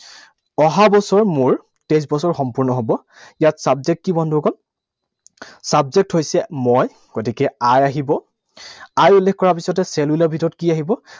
অহা বছৰ মোৰ তেইছ বছৰ সম্পূৰ্ণ হব। ইয়াত subject কি বন্ধুসকল? Subject হৈছে মই। গতিকে I আহিব। I উল্লেখ কৰাৰ পিছতে shall will ৰ ভিতৰত কি আহিব?